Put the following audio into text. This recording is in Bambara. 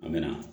An mɛ na